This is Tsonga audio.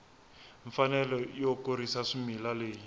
mfanelo yo kurisa swimila leyi